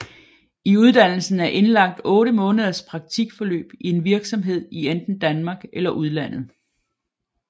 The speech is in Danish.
I uddannelsen er indlagt 8 måneders praktikforløb i en virksomhed i enten Danmark eller udlandet